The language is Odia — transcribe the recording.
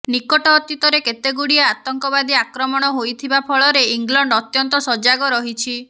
ନିକଟ ଅତୀତରେ କେତେଗୁଡ଼ିଏ ଆତଙ୍କବାଦୀ ଆକ୍ରମଣ ହୋଇଥିବା ଫଳରେ ଇଂଲଣ୍ଡ ଅତ୍ୟନ୍ତ ସଜାଗ ରହିଛି